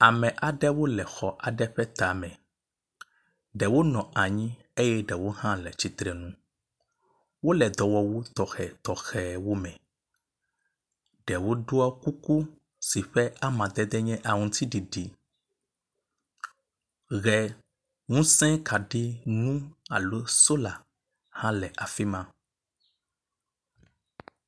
Ame aɖewo le xɔ aɖe ƒe tame. Ɖewo nɔ anyi eye ɖewo hã le tsitre nu. Wo le dɔwɔwu tɔxetɔxewo me. Ɖewo ɖɔ kuku si ƒe amadede nye aŋtsiɖiɖi. Ʋe ŋuse kaɖi ŋu alo sola hã le afi ma.